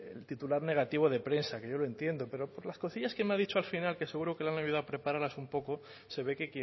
titular negativo de prensa que yo lo entiendo pero por las cosillas que me ha dicho al final que seguro que lo han debido preparar así un poco se ve que